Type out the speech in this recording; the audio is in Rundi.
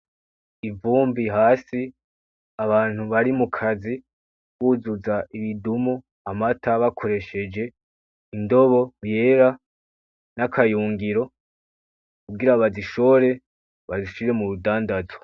Imvumbi hasi abantu bari mukazi buzuza ibidumu amata bakoresheje indobo yera nakayungiro kugira bazishore bazishize murudandazwa .